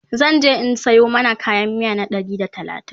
zanje in Sayo mana kayan miya na Ɗari da talatin